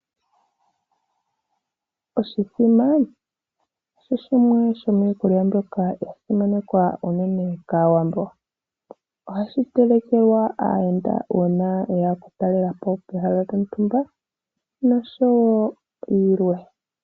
Oshithima osho shimwe sho miikulya mbyoka ya simanekwa unene kAawambo . Ohashi telekelwa aayenda uuna ye ya okutalela po pehala lyontumba nosho woo yilwe.